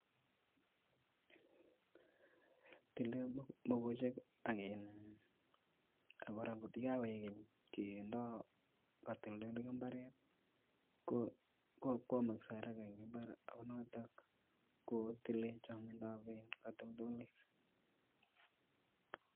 Tile mokochek ak kora kotokokoik keny Ikitoldolee imbareet ko kwonyoksee en imbaret ak noton kotile kotoltoliik